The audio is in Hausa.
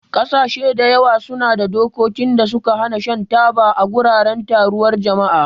Ƙasashe da yawa suna da dokokin da suka hana shan taba a wuraren taruwar jama'a.